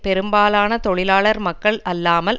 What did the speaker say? பெரும்பாலான தொழிலாளர் மக்கள் அல்லாமல்